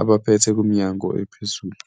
abaphethe kuminyango ephezulu.